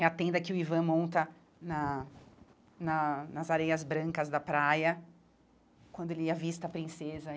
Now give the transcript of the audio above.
É a tenda que o Ivan monta na na nas areias brancas da praia, quando ele avista a princesa.